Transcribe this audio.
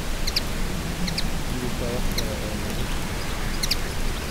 Ma jirto wax kale oo lagu sharaxo.